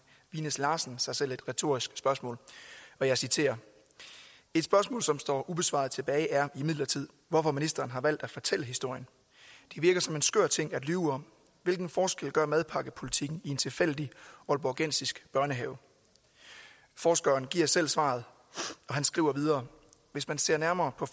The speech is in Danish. vinæs larsen sig selv et retorisk spørgsmål og jeg citerer et spørgsmål som står ubesvaret tilbage er imidlertid hvorfor ministeren har valgt at fortælle historien det virker som en skør ting at lyve om hvilken forskel gør madpakkepolitikken i en tilfældig aalborgensisk børnehave forskeren giver selv svaret og han skriver videre hvis man ser nærmere på